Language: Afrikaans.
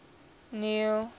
neil